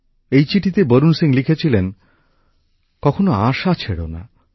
এই চিঠিতেই বরুণ সিং লিখেছিলেন কখনো আশা ছেড়ো না